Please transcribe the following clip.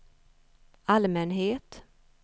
allmänhet